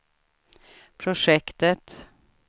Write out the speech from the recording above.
projektet